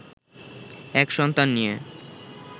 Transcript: এক সন্তান নিয়ে